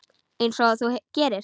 Einsog þú gerir?